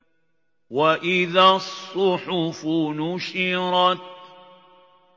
وَإِذَا الصُّحُفُ نُشِرَتْ